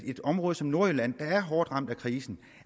et område som nordjylland der er hårdt ramt af krisen